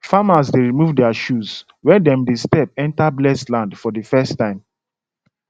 farmers dey remove their shoes when dem dey step enter blessed land for the first time